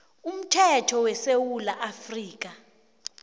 umthetho wesewula afrika